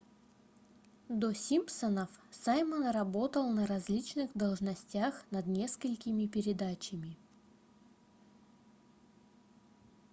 до симпсонов саймон работал на различных должностях над несколькими передачами